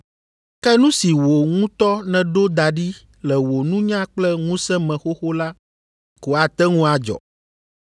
Ke nu si wò ŋutɔ nèɖo da ɖi le wò nunya kple ŋusẽ me xoxo la ko ate ŋu adzɔ.